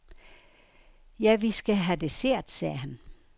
Ja, vi skal have dessert, sagde han.